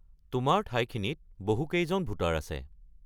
তোমাৰ ঠাইখিনিত বহু কেইজন ভোটাৰ আছে।